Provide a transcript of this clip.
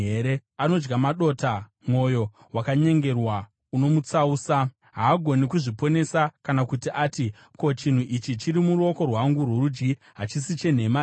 Anodya madota, mwoyo wakanyengerwa unomutsausa; haagoni kuzviponesa kana kuti ati, “Ko, chinhu ichi chiri muruoko rwangu rworudyi hachisi chenhema here?”